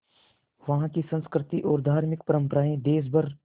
वहाँ की संस्कृति और धार्मिक परम्पराएं देश भर